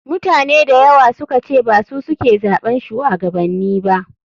Mutane dayawa sukace basu suke zaɓan shuwagabanni ba.